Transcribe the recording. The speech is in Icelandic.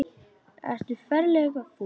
Ertu ferlega fúll?